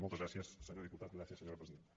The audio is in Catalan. moltes gràcies senyor diputat gràcies senyora presidenta